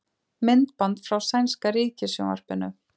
Myndband frá sænska ríkissjónvarpinu